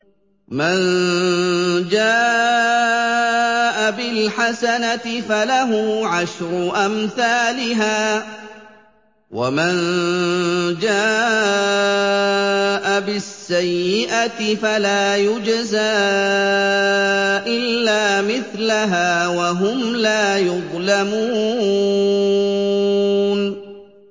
مَن جَاءَ بِالْحَسَنَةِ فَلَهُ عَشْرُ أَمْثَالِهَا ۖ وَمَن جَاءَ بِالسَّيِّئَةِ فَلَا يُجْزَىٰ إِلَّا مِثْلَهَا وَهُمْ لَا يُظْلَمُونَ